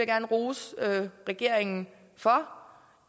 gerne rose regeringen for